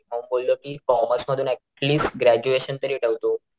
मग मी बोललो कि कॉमर्स मधून ऍटलीस ग्रॅजुएशन तरी ठेवतो.